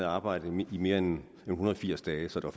arbejdet i mere end en hundrede og firs dage så der